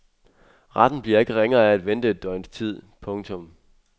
Retten bliver ikke ringere af at vente et døgns tid. punktum